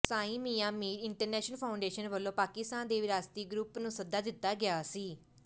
ਸਾਈ Mian Mir international foundation ਵੱਲੋਂ ਪਾਕਿਸਤਾਨ ਦੇ ਵਿਰਾਸਤੀ ਗਰੁੱਪ ਨੂੰ ਸੱਦਾ ਦਿੱਤਾ ਗਿਆ ਸੀ